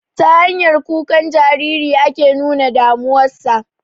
Ta hanyar kukan Jariri ake nuna damuwa sa